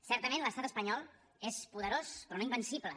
certament l’estat espanyol és poderós però no invencible